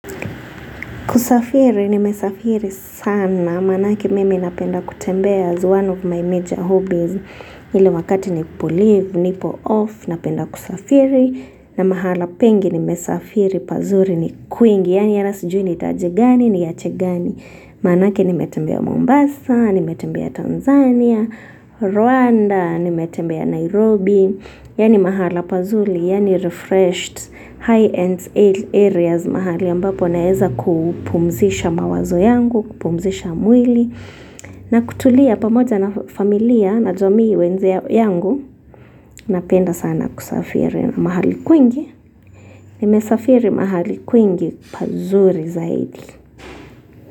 Kusafiri nimesafiri sana. Maanake mimi napenda kutembea as one of my major hobbies. Ile wakati ni tulivu, nipo off, napenda kusafiri. Na mahala pengi nimesafiri pazuri ni kwingi. Yaani ata sijui ni taje gani niache gani. Maanake nimetembea Mombasa, nimetembea Tanzania, Rwanda, nimetembea Nairobi. Yaani mahala pazuri, yaani refreshed high ends areas mahali ambapo naeza kupumzisha mawazo yangu, kupumzisha mwili. Na kutulia pamoj na familia najua mi wenzo yangu napenda sana kusafiri kwingi. Nimesafiri mahali kwingi pazuri zaidi.